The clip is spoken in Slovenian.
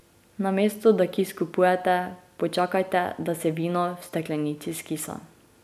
Namesto da kis kupujete, počakajte, da se vino v steklenici skisa.